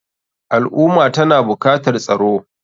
Al ummah tana bukatar tsaro.